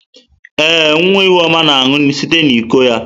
Ee, nwa Ihuoma na-aṅụ site n'iko ya.